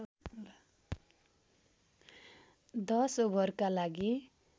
१० ओभरहरूका लागि